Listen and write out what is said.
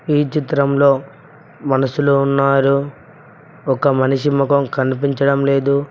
ఈ చిత్రంలో మనసులో ఉన్నారు ఒక మనిషి ముఖం కనిపించడం లేదు.